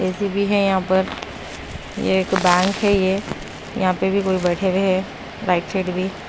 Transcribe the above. AC भी है यहां पर ये एक बैंक ये यहां पे भी कोई बैठे हुए हैं राइट साइड भी।